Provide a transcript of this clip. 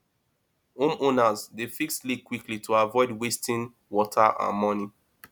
homeowners dey fix leaks quickly to avoid wasting water and money